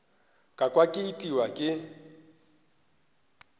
ka kwa ke itiwa ke